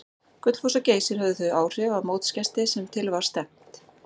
Gullfoss og Geysir höfðu þau áhrif á mótsgesti sem til var stefnt.